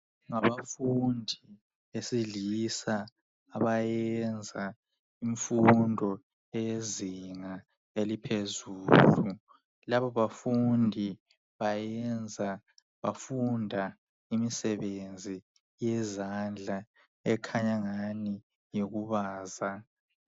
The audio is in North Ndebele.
Ngabafundi besilisa abayenza imfundo eyezinga eliphezulu labo bafundi bayenza bafunda imisebenzi yezandla ekhanya engani ngeyokubaza.